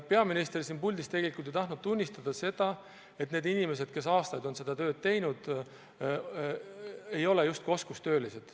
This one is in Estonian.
Peaminister siin puldis tegelikult ei tahtnud tunnistada, et need inimesed, kes aastaid on seda tööd teinud, on oskustöölised.